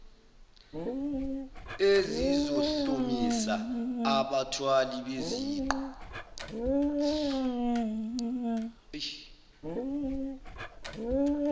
ezizohlomisa abathwali beziqu